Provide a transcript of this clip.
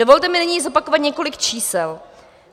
Dovolte mi nyní zopakovat několik čísel.